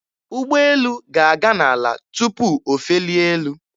Ụgbọelu ga-aga n'ala tụpụ o felie elu.